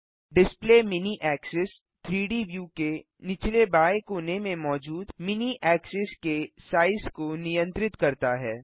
display mini axis 3डी view के निचले बाएँ कोने में मौजूद मिनी ऐक्सिस के साइज को नियंत्रित करता है